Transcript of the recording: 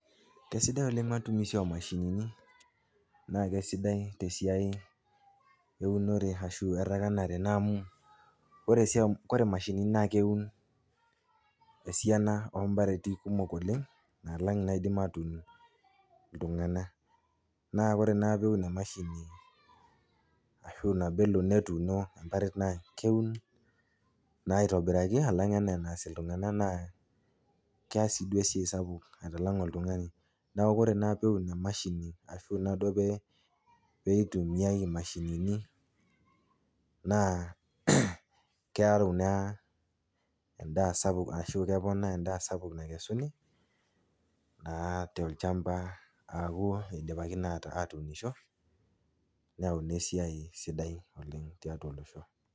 Kesidai oleng' matumisi oomashinini. Naakesidai tesiai eunore ashu errakanare naamu oresiai, kore mashinini naakeun esiana oompareti kumok oleng' naalang' inaaidim aatuun iltung'ana. Naa kore naa peun emashini ashu naboelo netuuno emparet naakeun naa aitobiraki alang' anaa enaas iltung'ana naa keas sii duo esiai sapuk aitalang' oltung'ani. Neaku kore naa peun emashini ashu naaduo [pee] peitumiai imashinini naa kearu naa endaa sapuk ashu keponaa endaa sapuk nakesuni naa tolchamba aaku eidipaki naa aatuniisho neyauni esiai sidai oleng' tiatua olosho.